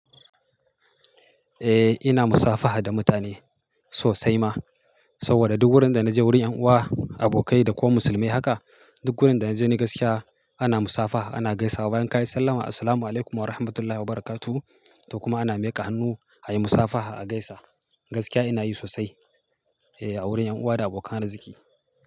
Eh ina musafaha da mutane sosai ma, saboda duk wurin da naje wurin ƴan uwa, abokai da kuma musulmai haka duk wurin da naje ni gaskiya ana musafaha ana gaisa wa bayan ka yi sallama Assalamualaikum Warahmatullahi Wabarakatuh to kuma ana miƙa hannu ayi musafaha a gaisa. Gaskiya ina yi sosai eh a wurin ƴan uwa da abokan arziki.